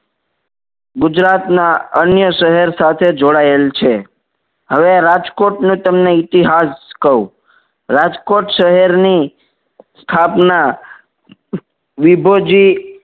ગુજરાતના અન્ય શહેર સાથે જોડાયેલ છે હવે રાજકોટને તમને ઇતિહાસ કહું. રાજકોટ શહેરની સ્થાપના વિભુજી